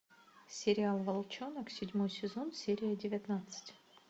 сериал волчонок седьмой сезон серия девятнадцать